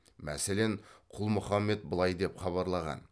мәселен құл мұхамед былай деп хабарлаған